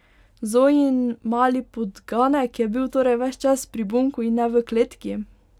Zojin mali podganek je bil torej ves čas pri Bunku in ne v kletki!